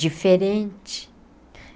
diferente.